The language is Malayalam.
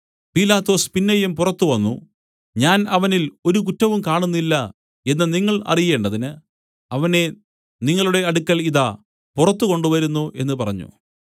പീലാത്തോസ് പിന്നെയും പുറത്തു വന്നു ഞാൻ അവനിൽ ഒരു കുറ്റവും കാണുന്നില്ല എന്നു നിങ്ങൾ അറിയേണ്ടതിന് അവനെ നിങ്ങളുടെ അടുക്കൽ ഇതാ പുറത്തു കൊണ്ടുവരുന്നു എന്നു പറഞ്ഞു